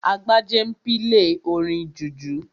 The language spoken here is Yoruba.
Agbájé n pílè orin jùjú